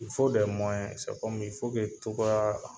cogoya